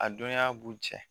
A dɔnniya b'u jɛ